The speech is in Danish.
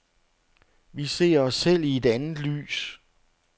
Vi ser os selv i et andet lys.